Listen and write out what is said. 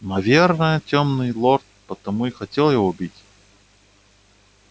наверное тёмный лорд потому и хотел его убить